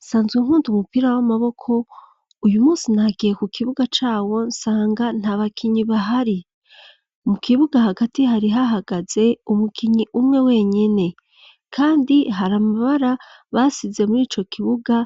Nsanzwe nkunda umupira w'amaboko, uyu munsi nagiye ku kibuga cawo nsanga nta bakinyi bahari. Mu kibuga hagati hari hahagaze umukinyi umwe wenyene. Kandi hari amabara basize muri ico kibuga